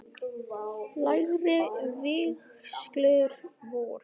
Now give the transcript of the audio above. Lægri vígslur voru